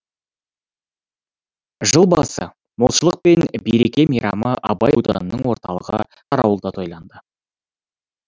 жыл басы молшылық пен береке мейрамы абай ауданының орталығы қарауылда тойланды